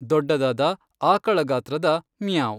ದೊಡ್ಡದಾದ, ಆಕಳ ಗಾತ್ರದ ' ಮಿಯಾಂವ್'.